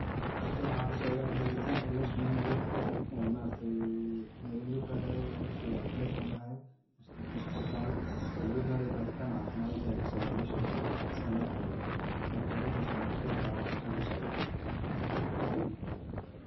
Halkan waxa kasocda baaritan oo loo sameynayo oo ma aragte loga baarayo dadka ma aragte breshaga hayo mise dadka sokorta hayo oo loga barayo barintan caafimad aya kasocda meshan San arkayo, marka arintas ayan kuqeexi laha waxa halkan kasocdo